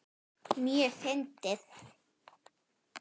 Mjög fyndið.